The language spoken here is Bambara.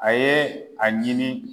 A ye a ɲini.